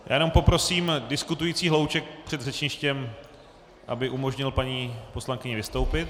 Já jenom poprosím diskutující hlouček před řečništěm, aby umožnil paní poslankyni vystoupit.